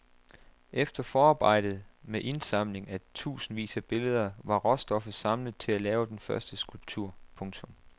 Efter forarbejdet med indsamling af tusindvis af billeder var råstoffet samlet til at lave den første skulptur. punktum